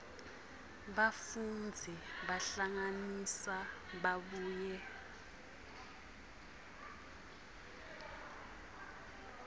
bafundzi bahlanganisa babuye